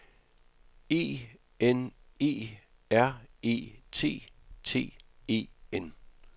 E N E R E T T E N